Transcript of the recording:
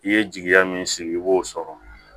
I ye jigiya min sigi i b'o sɔrɔ